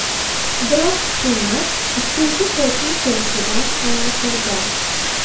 Biroq hukumat ikkinchi to‘lqin kelishidan xavotirda.